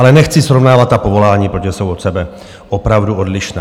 Ale nechci srovnávat ta povolání, protože jsou od sebe opravdu odlišná.